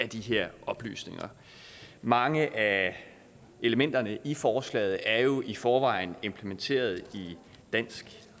de her oplysninger mange af elementerne i forslaget er jo i forvejen implementeret i dansk